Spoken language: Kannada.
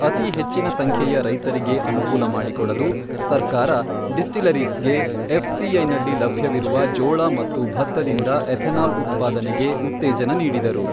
ಅತಿ ಹೆಚ್ಚಿನ ಸಂಖ್ಯೆಯ ರೈತರಿಗೆ ಅನುಕೂಲ ಮಾಡಿಕೊಡಲು ಸರ್ಕಾರ ಡಿಸ್ಟಿಲರೀಸ್ ಗೆ ಎಫ್ ಸಿಐನಲ್ಲಿ ಲಭ್ಯವಿರುವ ಜೋಳ ಮತ್ತು ಭತ್ತದಿಂದ ಎಥೆನಾಲ್ ಉತ್ಪಾದನೆಗೆ ಉತ್ತೇಜನ ನೀಡಿದರು.